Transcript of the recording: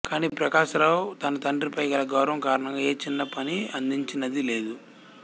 కానీ ప్రకాశరావు తన తండ్రిపై గల గౌరవం కారణంగా ఏ చిన్న పని అందించినది లేదు